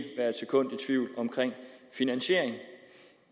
finansiere